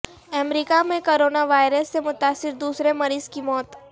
امریکہ میں کروناوائرس سے متاثر دوسرے مریض کی موت